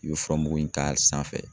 I bɛ furamugu in k'a sanfɛ.